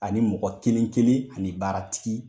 Ani mɔgɔ kelen kelen ani baaratigi.